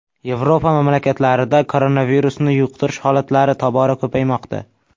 Yevropa mamlakatlarida koronavirusni yuqtirish holatlari tobora ko‘paymoqda.